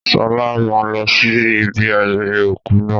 Sọlá máa lọ sí ibi ayẹyẹ òkú náà